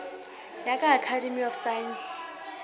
ya ka academy of science